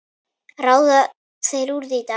Ráða þeir því, Dagur?